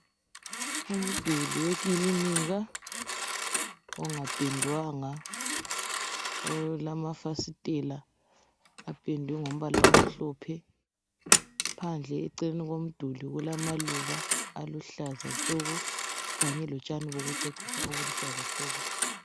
umduli wekilinika ongapendwanga olamafasitela apendwe ngombala omhlophe phandle eceleni komduli kulama luba aluhlaza tshoko kanye lotshani bokucecisa obuluhlaza tshoko